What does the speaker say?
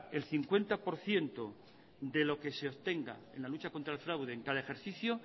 el cincuenta por ciento de lo que se obtenga en la lucha contra el fraude en cada ejercicio